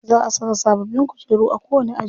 Za a saka sababbin kujeru a kowani aji.